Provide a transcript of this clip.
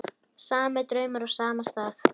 Sami draumur á sama stað.